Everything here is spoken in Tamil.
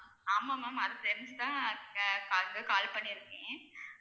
ஆமாம் ma'am அது தெரிஞ்சு தான் ca~ call பண்ணிருக்கேன்